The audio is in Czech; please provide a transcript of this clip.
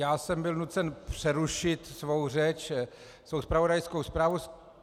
Já jsem byl nucen přerušit svou řeč, svou zpravodajskou zprávu.